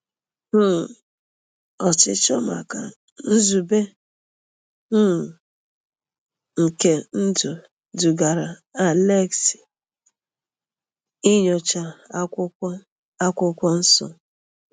um Ọchịchọ maka nzube um nke ndụ dugara Alexei inyocha akwụkwọ akwụkwọ nsọ.